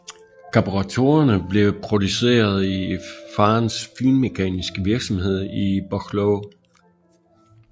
Karburatorerne blev produceret i faderens finmekaniske virksomhed i Buchloe